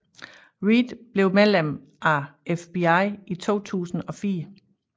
Reid blev medlem af FBI i 2004